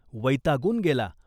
वैतागून गेला.